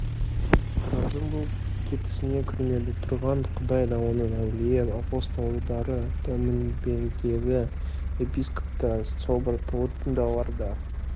тұрардың бұл кетісіне көрмеде тұрған құдай да оның әулие апостолдары да мінбедегі епископ та собор толы діндарлар да